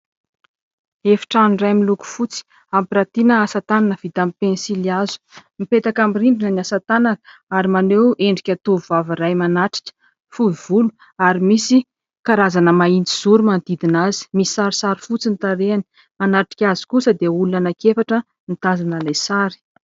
Efitrano iray miloko fotsy ampiratiana asatanana vita amin'ny pensily hazo. Mipetaka amin'ny rindrina ny asatanana ary maneho endrika tovovavy iray manatrika, fohy volo ary misy karazana mahitsizoro manodidina azy, misy sarisary fotsy ny tarehiny. Manatrika azy kosa dia olona anaky efatra mitazana ilay sary.